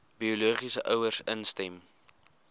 biologiese ouers instem